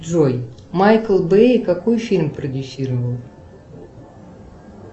джой майкл бей какой фильм продюсировал